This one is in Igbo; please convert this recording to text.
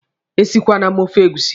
Esikweele m ofe egusi!